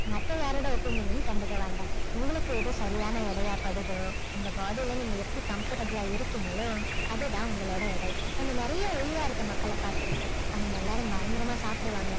மத்த யாருடைய opinion ம் கண்டுக்க வேண்டாம் உங்களுக்கு எது சரியான எடையா படுதோ உங்க body ல நீங்க எப்படி comfortable ஆ இருக்கீங்களோ அதுதான் உங்களுடைய எடை நம்ம நிறைய ஒல்லியா இருக்கிற மக்களை பார்த்து இருப்போம் அவங்க எல்லாரும் பயங்கரமா சாப்பிடுவாங்க